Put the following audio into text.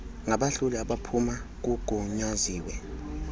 ngabahloli abaphuma kugunyaziwe